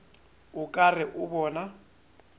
o ka re o bona